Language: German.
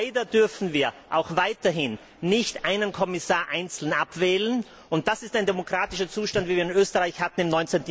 Leider dürfen wir auch weiterhin nicht Kommissare einzeln abwählen. Das ist ein demokratischer Zustand, wie wir ihn in Österreich im